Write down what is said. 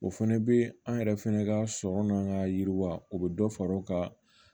O fɛnɛ be an yɛrɛ fɛnɛ ka sɔrɔ n'an ka yiriwa o bɛ dɔ fara o kan